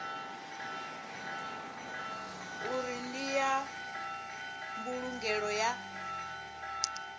uri ndi ya mbulungelo ya